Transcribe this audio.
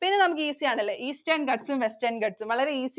ഇനി നമുക്ക് easy ആണല്ലേ. Eastern Ghats ഉം Western Ghats ഉം. വളരെ easy